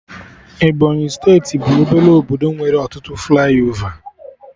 Ebọnyị steeti bụ obele obodo nwere ọtụtụ flaiova